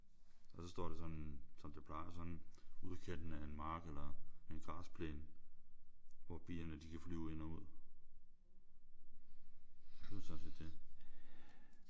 Og så står der sådan som det plejer sådan i udkanten af en mark eller græsplæne hvor bierne de kan flyve ind og ud. Og det er sådan set det